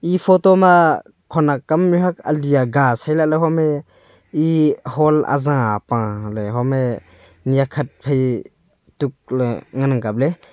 e photo ma khonak kam mihuak ali aga sai lahley home e hall azah apaley home nyakhat phai tukley ngan ang kapley.